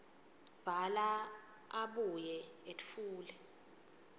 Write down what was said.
bhala abuye etfule